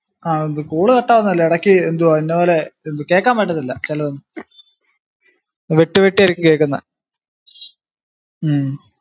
ആഹ് ന്ത് call cut ആവുന്നതല്ല ഇടയ്ക്ക് എന്തോ പോലെ കേക്കാൻ പറ്റത്തില്ല ചെലതൊന്നും വിട്ട് വിട്ട് ആയിരിക്കും കേക്കുന്നെ ഹും